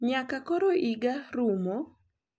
Nyaka koro higa rumo.